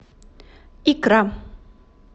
икра